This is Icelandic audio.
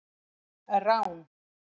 Rán